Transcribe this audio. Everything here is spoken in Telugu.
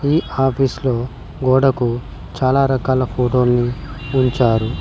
ఈ ఆఫీస్ లో గోడకు చాలా రకాల ఫోటోల్నీ ఉంచారు.